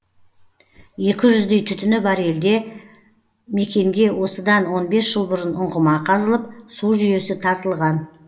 екі жүздей түтіні бар елде мекенге осыдан он бес жыл бұрын ұңғыма қазылып су жүйесі тартылған